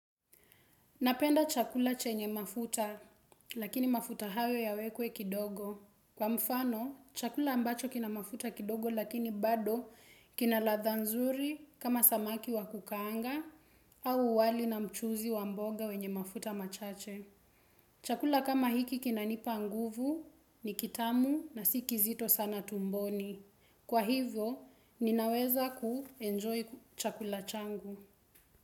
Napenda chakula chenye mafuta, lakini mafuta hayo yawekwe kidogo. Kwa mfano, chakula ambacho kina mafuta kidogo lakini bado kina ladha nzuri kama samaki wa kukaanga au wali na mchuuzi wa mboga wenye mafuta machache. Chakula kama hiki kina nipa nguvu ni kitamu na si kizito sana tumboni. Kwa hivyo, ninaweza kuenjoy chakula changu.